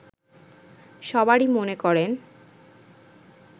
সবারই মনে করেন